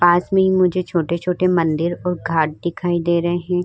पास में ही मुझे छोटे-छोटे मंदिर और घाट दिखाई दे रहे हैं।